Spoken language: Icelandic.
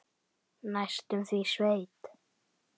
Næstum því sveit.